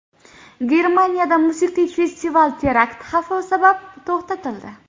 Germaniyada musiqiy festival terakt xavfi sabab to‘xtatildi.